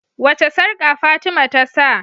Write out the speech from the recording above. wace sarƙa fatima tasa?